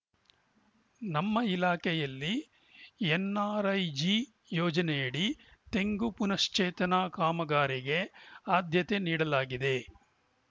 ನಮ್ಮ ಇಲಾಖೆಯಲ್ಲಿ ಎನ್‌ಆರ್‌ಐಜಿ ಯೋಜನೆಯಡಿ ತೆಂಗು ಪುನಶ್ಚೇತನ ಕಾಮಗಾರಿಗೆ ಆದ್ಯತೆ ನೀಡಲಾಗಿದೆ